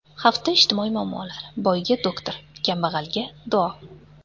Hafta ijtimoiy muammolari: Boyga – doktor, kambag‘alga – duo.